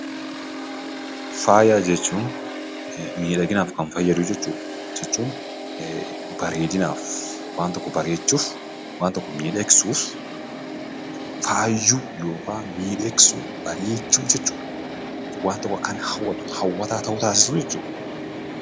Faaya jechuun miidhaginaaf kan fayyadu jechuudha; jechuun bareedinaaf waan tokko bareechuuf waan tokko miidhagsuuf faayuuf yookan miidhagsuu bareechuu jechuudha. Waan tokko akka inni hawwatu hawwataa ta'u taasisuu jechuudha.